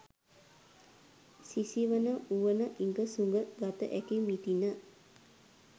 "සිසිවන වුවන ඉඟ සුඟ ගත හැකි මිටින"